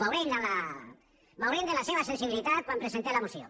bé la veurem la seva sensibilitat quan presentem la moció